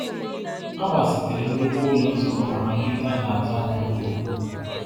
A gbazitere nnukwu ụlọ nzukọ maka nleta a na-atụ anya nke ukwuu.